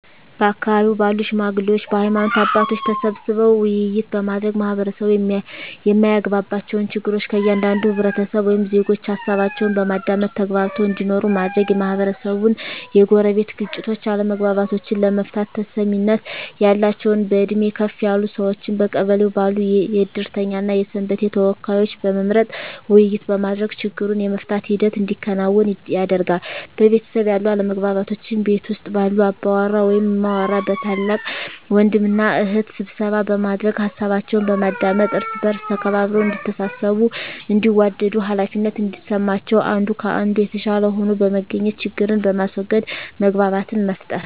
በአካባቢው ባሉ ሽማግሌዎች በሀይማኖት አባቶች ተሰብስበው ውይይት በማድረግ ማህበረሰቡ የማያግባባቸውን ችግር ከእያንዳንዱ ህብረተሰብ ወይም ዜጎች ሀሳባቸውን በማዳመጥ ተግባብተው እንዲኖሩ ማድረግ, የማህበረሰቡን የጎረቤት ግጭቶችን አለመግባባቶችን ለመፍታት ተሰሚነት ያላቸውን በእድሜ ከፍ ያሉ ሰዎችን በቀበሌው ባሉ የእድርተኛ እና የሰንበቴ ተወካዮችን በመምረጥ ውይይት በማድረግ ችግሩን የመፍታት ሂደት እንዲከናወን ያደርጋሉ። በቤተሰብ ያሉ አለመግባባቶችን ቤት ውስጥ ባሉ አባወራ ወይም እማወራ በታላቅ ወንድም እና እህት ስብሰባ በማድረግ ሀሳባቸውን በማዳመጥ እርስ በእርስ ተከባብረው እዲተሳሰቡ እንዲዋደዱ ሃላፊነት እንዲሰማቸው አንዱ ከአንዱ የተሻለ ሆኖ በመገኘት ችግርን በማስዎገድ መግባባትን መፍጠር።